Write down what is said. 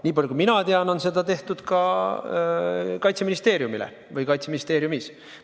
Niipalju kui mina tean, on seda tehtud ka Kaitseministeeriumile või Kaitseministeeriumis.